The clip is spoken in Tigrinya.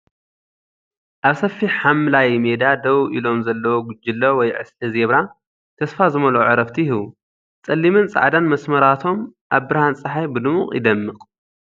ኣብ ሰፊሕ ሓምላይ ሜዳ ደው ኢሎም ዘለዉ ጕጅለ ወይ ዕስለ ዜብራ፡ ተስፋ ዝመልኦ ዕረፍቲ ይህቡ። ጸሊምን ጻዕዳን መስመራቶም ኣብ ብርሃን ጸሓይ ብድሙቕ ይደምቕ።